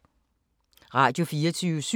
Radio24syv